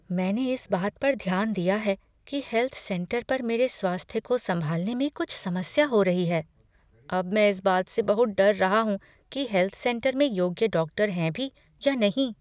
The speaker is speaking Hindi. मैंने इस बात पर ध्यान दिया है कि हेल्थ सेंटर पर मेरे स्वास्थ्य को संभालने में कुछ समस्या हो रही है। अब मैं इस बात से बहुत डर रहा हूँ कि हेल्थ सेंटर में योग्य डॉक्टर हैं भी या नहीं।